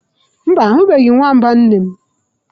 Mba, ahubeghi nwamba nne'm.